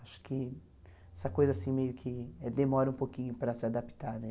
Acho que essa coisa assim meio que demora um pouquinho para se adaptar, né?